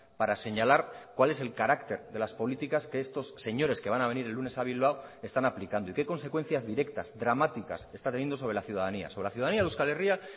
para señalar cuál es el carácter de las políticas que estos señores que van a venir el lunes a bilbao están aplicando y qué consecuencias directas dramáticas está teniendo sobre la ciudadanía sobre la ciudadanía de euskal herria